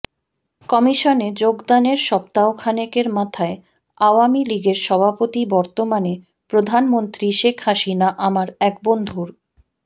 কমিশনে যোগদানের সপ্তাহখানেকের মাথায় আওয়ামী লীগের সভাপতি বর্তমানে প্রধানমন্ত্রী শেখ হাসিনা আমার এক বন্ধুর